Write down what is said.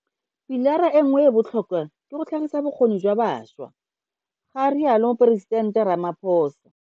Pilara e nngwe e e botlhokwa ke go tlhagisa bokgoni jwa bašwa, ga rialo Moporesitente Ramaphosa.